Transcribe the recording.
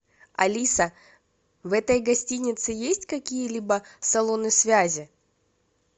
алиса в этой гостинице есть какие либо салоны связи